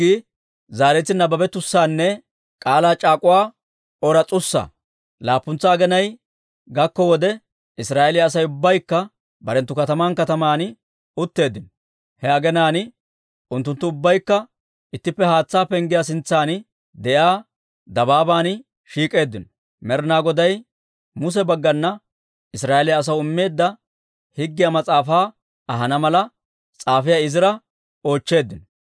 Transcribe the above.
Laappuntsa aginay gakko wode, Israa'eeliyaa Asay ubbaykka barenttu kataman kataman utteeddino. He aginaan unttunttu ubbaykka ittippe Haatsaa Penggiyaa sintsan de'iyaa dabaaban shiik'k'eeddino. Med'inaa Goday Muse baggana Israa'eeliyaa asaw immeedda Higgiyaa Mas'aafaa ahana mala, s'aafiyaa Izira oochcheeddino.